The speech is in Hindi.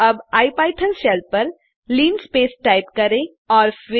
अब इपिथॉन शेल पर लिनस्पेस टाइप करें और फिर